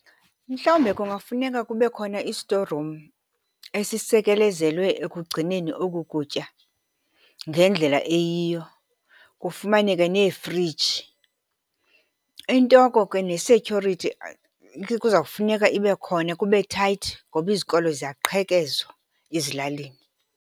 Mhlawumbe kungafuneka kube khona i-store room esisekelezelwe ekugcineni oku kutya ngendlela eyiyo, kufumaneke neefriji. Into oko ke ne-security, kuzawufuneka ibe khona kube tight ngoba izikolo ziyaqhekezwa ezilalini.